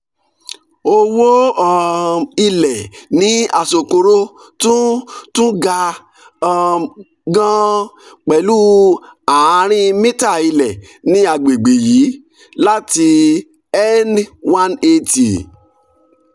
owó um ilẹ̀ ní asokoro tún tún ga um gan-an pẹ̀lú ààrin mítà ilẹ̀ ní àgbègbè yìí láti n one hundred eighty